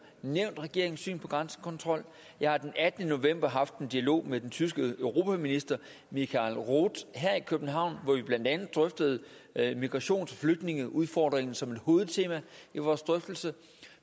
nævnt regeringens syn på grænsekontrol jeg har den attende november haft en dialog med den tyske europaminister michael roth her i københavn hvor vi blandt andet drøftede migrations og flygtningeudfordringen som et hovedtema i vores drøftelser